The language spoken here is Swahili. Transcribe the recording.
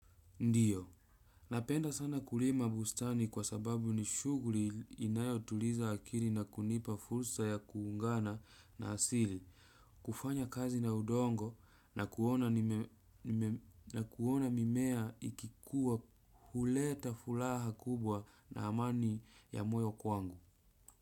Ndiyo. Napenda sana kulima bustani kwa sababu ni shuguri inayo tuliza akiri na kunipa fulsa ya kuungana na asili. Kufanya kazi na udongo na kuona mimea ikikuwa huleta fulaha kubwa na amani ya moyo kwangu.